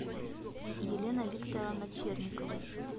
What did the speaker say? елена викторовна черникова